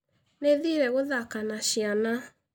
Nĩ thiire gũthaka na ciana.